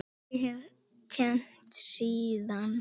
Ég hef kennt síðan.